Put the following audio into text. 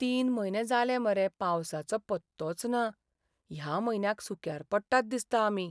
तीन म्हयने जाले मरे पावसाचो पत्तोच ना. ह्या म्हयन्याक सुक्यार पडटात दिसता आमी.